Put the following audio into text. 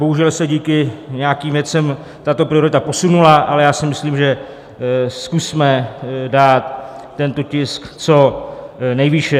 Bohužel se díky nějakým věcem tato priorita posunula, ale já si myslím, že zkusme dát tento tisk co nejvýše.